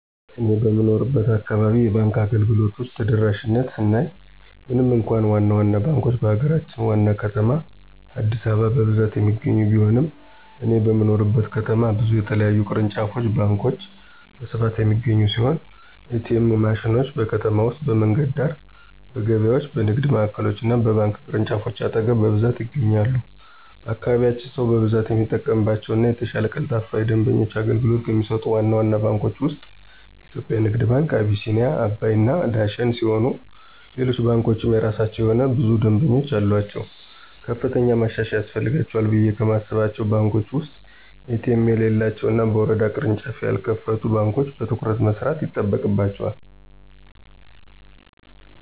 እኔ በምኖርበት አካባቢ የባንክ አገልግሎቶች ተደራሽነት ስናይ ምንም እንኳ ዋና ዋና ባንኮች በሀገራችን ዋና ከተማ አዲስአበባ በብዛት የሚገኙ ቢሆንም እኔ በምኖርበት ከተማ ብዙ የተለያዩ ቅርንጫፍ ባንኮች በስፋት የሚገኙ ሲሆን: ኤ.ቲ.ኤም ማሽኖች: በከተማ ውስጥ በመንገድ ዳር፣ በገበያዎች፣ በንግድ ማዕከሎች እና በባንክ ቅርንጫፎች አጠገብ በብዛት ይገኛሉ። በአካባቢያችን ሰው በብዛት የሚጠቀምባቸው እና የተሻለ ቀልጣፋ የደንበኞች አገልግሎት ከሚሰጡት ዋና ዋና ባንኮች ውስጥ (የኢትዮጽያ ንግድ ባንክ፣ አቢሲኒያ፣ አባይ እና ዳሽን ሲሆኑ ሌሎች ባንኮችም የየራሳቸው የሆነ ብዙ ደምበኞች አሉአቸው። ከፍተኛ ማሻሻያ ያስፈልጋቸዋል ብየ ከማስባቸው ባንኮች ውስጥ ኤ.ቲ.ኤም የሌላቸው እና በየወረዳው ቅርንጫፍ ያልከፈቱ ባንኮች በትኩረት መስራት ይጠበቅባቸዋል።